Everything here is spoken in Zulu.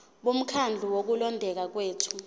bomkhandlu wokulondeka kwethu